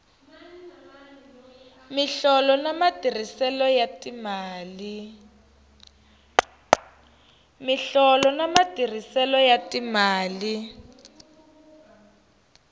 miholo na matirhiselo ya timali